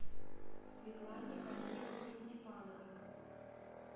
светлане амировне степановой